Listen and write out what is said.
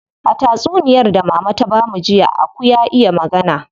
A tatsuniyar da mama ta bamu jiya, aku ya iya magana.